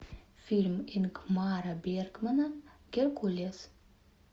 фильм ингмара бергмана геркулес